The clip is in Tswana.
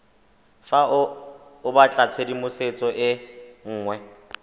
fa o batlatshedimosetso e nngwe